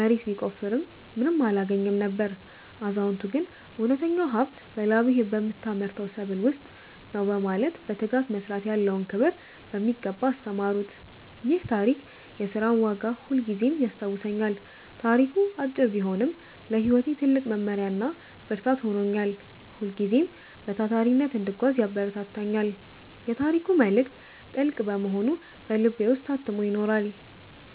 መሬት ቢቆፍርም ምንም አላገኘም ነበር። አዛውንቱ ግን እውነተኛው ሀብት በላብህ በምታመርተው ሰብል ውስጥ ነው በማለት በትጋት መስራት ያለውን ክብር በሚገባ አስተማሩት። ይህ ታሪክ የሥራን ዋጋ ሁልጊዜም ያስታውሰኛል። ታሪኩ አጭር ቢሆንም ለሕይወቴ ትልቅ መመሪያና ብርታት ሆኖኛል። ሁልጊዜም በታታሪነት እንድጓዝ ያበረታታኛል። የታሪኩ መልእክት ጥልቅ በመሆኑ በልቤ ውስጥ ታትሞ ይኖራል።